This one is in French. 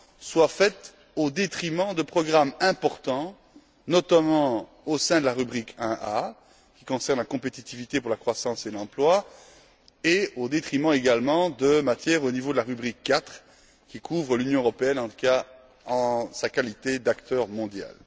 soit faite au détriment de programmes importants, notamment au sein de la rubrique 1a, qui concerne la compétitivité pour la croissance et l'emploi, et au détriment également de matières relevant de la rubrique 4 qui couvre l'Union européenne en sa qualité d'acteur mondial.